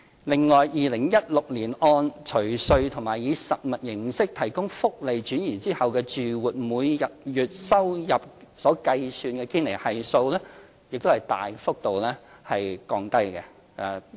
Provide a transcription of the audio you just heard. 另外 ，2016 年按除稅及以實物形式提供福利轉移後住戶每月收入計算的堅尼系數大幅降低。